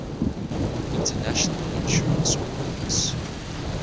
international insurance ordinance